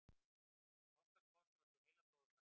Ástarkoss olli heilablóðfalli